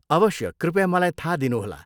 अवश्य, कृपया मलाई थाहा दिनुहोला।